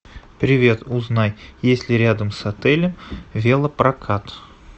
привет узнай есть ли рядом с отелем велопрокат